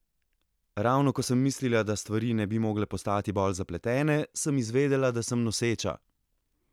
Ravno ko sem mislila, da stvari ne bi mogle postati bolj zapletene, sem izvedela, da sem noseča!